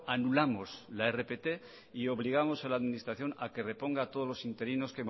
anulamos la rpt y obligamos a la administración a que reponga todos los interinos